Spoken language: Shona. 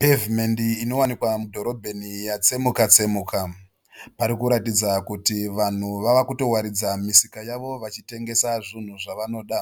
Pevhumendi inowanikwa mudhorobheni yakutsemuka tsemuka parikuratidza kuti vanhu vava kutowaridza misika yavo vachitengesa zvunhu zvavanoda.